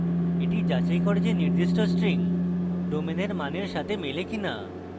এই যাচাই করে যে নির্দিষ্ট string domain এর মানের সাথে মেলে কিনা